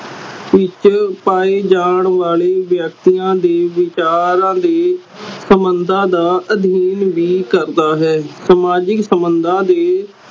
ਵਿਚ ਪਾਏ ਜਾਨ ਵਾਲੇ ਵਿਅਕਤੀਆਂ ਦੇ ਵਿਚਾਰਾਂ ਦੇ ਸੰਬੰਧਾਂ ਦਾ ਅਧੀਨ ਵੀ ਕਰਦਾ ਹੈ ਸਮਾਜਿਕ ਸੰਬੰਧਾ ਦੇ